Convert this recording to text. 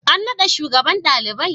An naɗa shugaban ɗalibai?